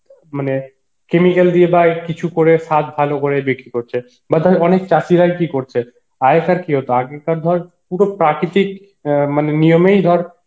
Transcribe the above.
মানে chemical দিয়ে বা কিছু করে সাত ভালো করে বিক্রি করছে বা ধর অনেক চাষীরা কি করছে আগেকার কি হতো আগেকার ধর পুরো প্রাকৃতিক অ্যাঁ মানে নিয়ম এই ধর